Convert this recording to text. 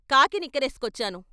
Khaki నిక్కరేసుకొచ్చాను.